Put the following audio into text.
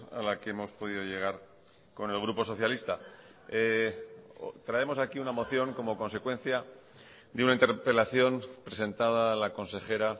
a la que hemos podido llegar con el grupo socialista traemos aquí una moción como consecuencia de una interpelación presentada a la consejera